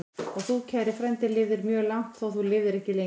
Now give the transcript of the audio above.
Og þú, kæri frændi, lifðir mjög langt, þótt þú lifðir ekki lengi.